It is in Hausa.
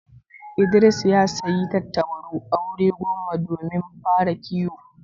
Idris ya sayi tattabaru aure goma domin fara kiwo.